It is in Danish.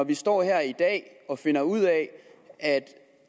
vi står her i dag og finder ud af at